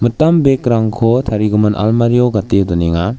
bag-rangko tarigimin almario gate donenga.